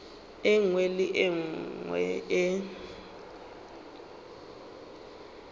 nngwe le ye nngwe e